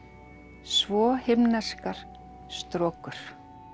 svo himneskar strokur